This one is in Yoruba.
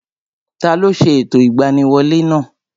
Taló ṣe ẹ̀tọ́ ìgbaniwolẹ́ náà?